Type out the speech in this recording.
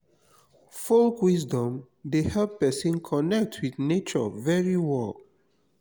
folk wisdom de help persin connect with nature very well